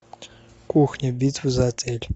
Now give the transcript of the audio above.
кухня битва за отель